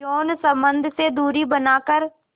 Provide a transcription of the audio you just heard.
यौन संबंध से दूरी बनाकर